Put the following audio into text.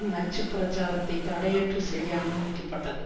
நச்சு பிரச்சாரத்தை தடையற்று செய்ய அனுமதிக்கப்பட்டது